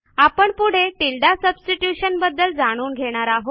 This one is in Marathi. आपण पुढे टिल्डे सबस्टिट्यूशन बद्दल जाणून घेणार आहोत